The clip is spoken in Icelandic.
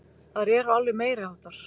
Þær eru alveg meiriháttar!